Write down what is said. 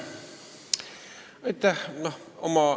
Aitäh!